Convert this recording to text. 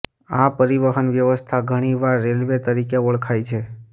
આ પરિવહન વ્યવસ્થા ઘણીવાર રેલવે તરીકે ઓળખાય છે